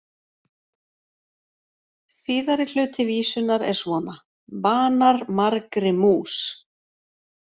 Síðari hluti vísunnar er svona: Banar margri mús,